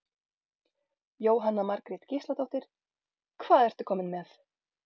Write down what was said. Jóhanna Margrét Gísladóttir: Hvað ertu kominn með?